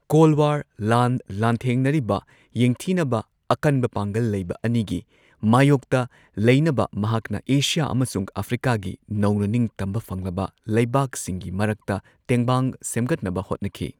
Call war ꯂꯥꯟ ꯂꯥꯟꯊꯦꯡꯅꯔꯤꯕ ꯌꯦꯡꯊꯤꯅꯕ ꯑꯀꯟꯕ ꯄꯥꯡꯒꯜ ꯂꯩꯕ ꯑꯅꯤꯒꯤ ꯃꯥꯢꯌꯣꯛꯇ ꯂꯩꯅꯕ ꯃꯍꯥꯛꯅ ꯑꯦꯁꯤꯌꯥ ꯑꯃꯁꯨꯡ ꯑꯐ꯭ꯔꯤꯀꯥꯒꯤ ꯅꯧꯅ ꯅꯤꯡꯇꯝꯕ ꯐꯪꯂꯕ ꯂꯩꯕꯥꯛꯁꯤꯡꯒꯤ ꯃꯔꯛꯇ ꯇꯦꯡꯕꯥꯡ ꯁꯦꯝꯒꯠꯅꯕ ꯍꯣꯠꯅꯈꯤ꯫